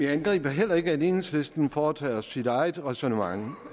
angriber heller ikke at enhedslisten foretager sit eget ræsonnement